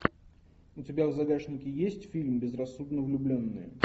у тебя в загашнике есть фильм безрассудно влюбленные